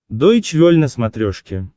дойч вель на смотрешке